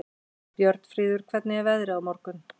Björnfríður, hvernig er veðrið á morgun?